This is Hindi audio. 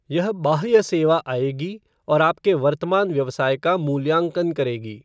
यह बाह्य सेवा आएगी और आपके वर्तमान व्यवसाय का मूल्यांकन करेगी।